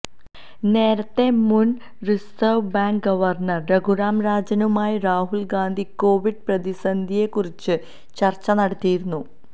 നേരത്ത മുന് reserve bank governor Raghuram രാജനുമായും രാഹുല് ഗാന്ധി കോവിഡ് പ്രതിസന്ധിയെക്കുറിച്ച് ചര്ച്ച നടത്തിയിരുന്നു